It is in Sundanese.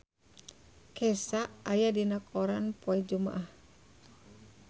Kesha aya dina koran poe Jumaah